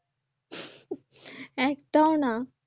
একটাও না